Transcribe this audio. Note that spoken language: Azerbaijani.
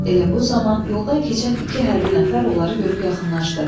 Elə bu zaman yoldan keçən iki hərbi nəfər onları görüb yaxınlaşdı.